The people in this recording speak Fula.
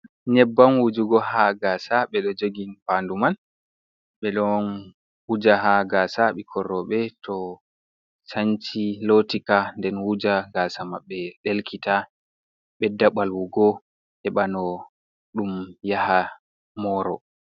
Nyeebam wujuugo ha gaasa, ɓe ɗoo jogi fandu man, ɓe ɗon wuuja ha gaasa ɓikkon rewɓe to shanci lootika nden wujua gaasa mabbe delkita ɓedda ɓaawuugo heɓano ɗum yaha morire.